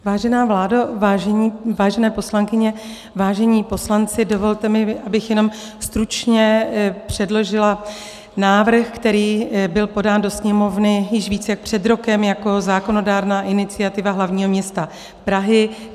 Vážená vládo, vážené poslankyně, vážení poslanci, dovolte mi, abych jenom stručně předložila návrh, který byl podán do Sněmovny již více jak před rokem jako zákonodárná iniciativa hlavního města Prahy.